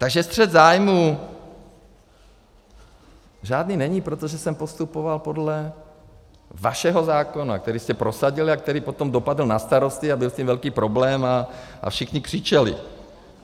Takže střet zájmů žádný není, protože jsem postupoval podle vašeho zákona, který jste prosadili a který potom dopadl na starosty a byl s tím velký problém a všichni křičeli.